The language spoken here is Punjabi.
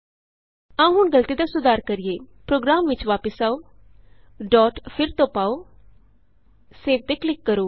ਆਉ ਹੁਣ ਗਲਤੀ ਦਾ ਸੁਧਾਰ ਕਰੀਏ ਪ੍ਰੋਗਰਾਮ ਵਿਚ ਵਾਪਸ ਆਉ ਡੋਟ ਫਿਰ ਤੋਂ ਪਾਉ ਸੇਵ ਤੇ ਕਲਿਕ ਕਰੋ